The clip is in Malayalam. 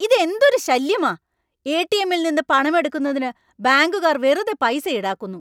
ഇതെന്തൊരു ശല്യമാ, എ.ടി.എമ്മി.ൽ നിന്ന് പണം എടുക്കുന്നതിന് ബാങ്കുകാർ വെറുതെ പൈസ ഈടാക്കുന്നു.